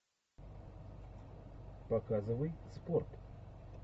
показывай спорт